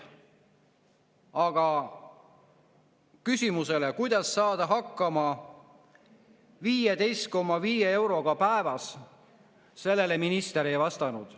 Aga küsimusele, kuidas saada hakkama 15,5 euroga päevas, minister ei vastanud.